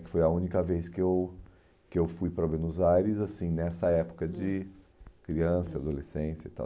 Que foi a única vez que eu que eu fui para Buenos Aires, assim, nessa época de criança, adolescência e tal.